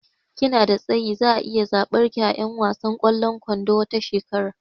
Kina da tsayi, zaa iya tsabar ki a 'yan wasan kwallon kwandon tawa shekera